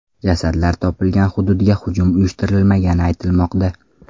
Jasadlar topilgan hududga hujum uyushtirilmagani aytilmoqda.